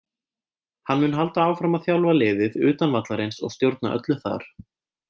Hann mun halda áfram að þjálfa liðið utan vallarins og stjórna öllu þar.